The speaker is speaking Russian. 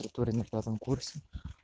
в натуре на пятом курсе